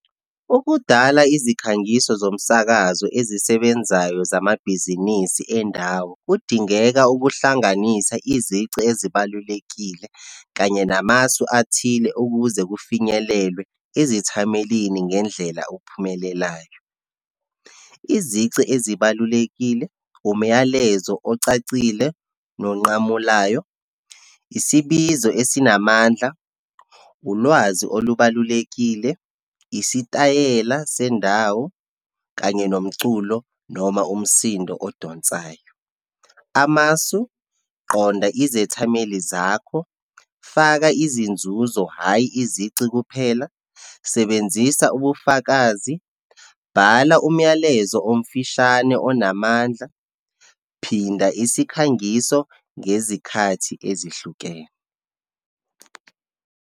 Ukudala izikhangiso zomsakazo ezisebenzayo zamabhizinisi endawo, kudingeka ukuhlanganisa izici ezibalulekile kanye namasu athile ukuze kufinyelelwe ezithamelini ngendlela okuphumelelayo. Izici ezibalulekile, umyalezo ocacile nomunqamulayo, isibizo esinamandla, ulwazi olubalulekile, isitayela sendawo, kanye nomculo, noma umsindo odonsayo. Amasu, qonda izethameli zakho, faka izinzuzo, hhayi izici kuphela, sebenzisa ubufakazi, bhala umyalezo omfishane onamandla, phinda isikhangiso ngezikhathi ezihlukene.